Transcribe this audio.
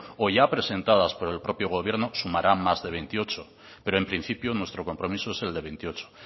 o ya presentadas por el propio gobierno sumarán más de veintiocho pero en principio nuestro compromiso es el de veintiocho